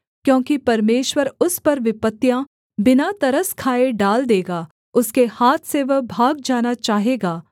क्योंकि परमेश्वर उस पर विपत्तियाँ बिना तरस खाए डाल देगा उसके हाथ से वह भाग जाना चाहेगा